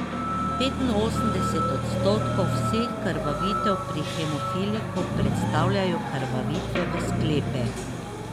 Petinosemdeset odstotkov vseh krvavitev pri hemofiliku predstavljajo krvavitve v sklepe.